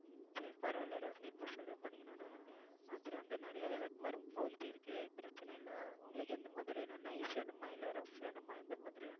சரி பரவாயில்லை ரோஷிணி இப்ப சொல்ல போனீங்கன்னா நமக்கு மதுரை வந்து நிறைய விளக்குமாறும் போயிட்டு இருக்கு பிரச்சனை இல்லை உங்களுக்கு எந்த மாதிரி வேணும் nice வேணுமா இல்லை rough வேணுமா எந்த மாதிரி வேணும்